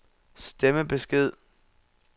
stemmebesked